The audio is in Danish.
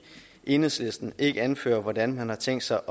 enhedslisten ikke anfører hvordan man har tænkt sig